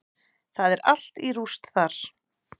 Það er allt í rúst þar.